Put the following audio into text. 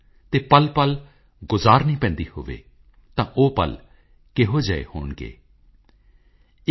to remove the pain and suffering and cheer the sad hearts